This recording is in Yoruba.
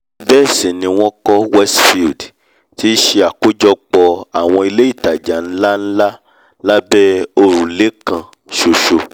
bẹ́ẹ̀ sì ni wọ́n kọ́ westfield tí í ṣe àkójọpọ̀ àwọn ilé ìtajà nlá-nlá lábẹ́ òrùlé kan-ṣoṣo!